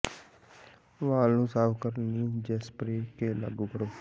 ਵਾਲ ਨੂੰ ਸਾਫ਼ ਕਰਨ ਲਈ ਜੇਸਪਰੇਅ ਕੇ ਲਾਗੂ ਕਰੋ